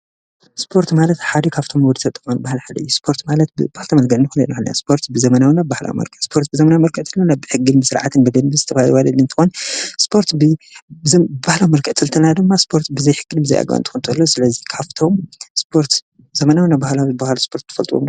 ስጶርት ማለት ሓደ ካፍቶም ውድተጠማን ባሃል ሓደይ ስጶርት ማለት ብባኽተመልገንኒኹን ነኢለንያ ስጶርት ብዘመናውናብ ባሕላ መርከ ስጶርት ብዘመና መርከትልና ናብሕጊል ምሥርዓት ንብድን ብዝተብ ዋልኒንትወን ስጶርት በህላ መርከጥ ጽልተና ድማ ስጶርት ብዘይሕክን ብዘይኣግንቲ ኾንተሎ ስለዙኻፍቶም ስጶርት ዘመናውናብብሃላምዝ በሃል ስጶርት ትፈልጥዎም?